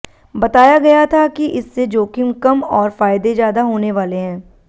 बताया गया था कि इससे जोखिम कम और फायदे ज्यादा होने वाले हैं